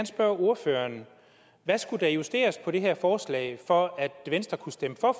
spørge ordføreren hvad skulle der justeres på i det her forslag for at venstre kunne stemme for